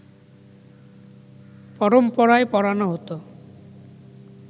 পরম্পরায় পড়ানো হতো